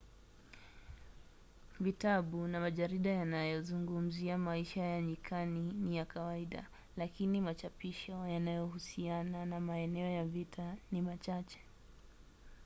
vitabu na majarida yanayozungumzia maisha ya nyikani ni ya kawaida lakini machapisho yanayohusiana na maeneo ya vita ni machache